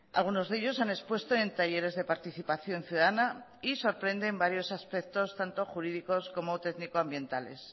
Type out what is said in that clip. algunos de ellos han expuesto en talleres de participación ciudadana y sorprenden varios aspectos tanto jurídicos como técnico ambientales